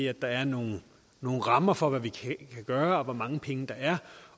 at der er nogle nogle rammer for hvad vi kan gøre og hvor mange penge der er